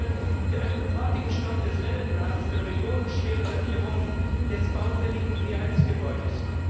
Ich plädiere für einen sofortigen Stopp des Welle Plans für die millionenschwere Sanierung des baufälligen PHS Gebäudes.